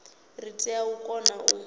ri tea u kona u